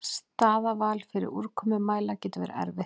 Staðarval fyrir úrkomumæla getur verið erfitt.